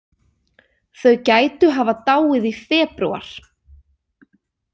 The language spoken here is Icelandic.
Þau gætu hafa dáið í febrúar.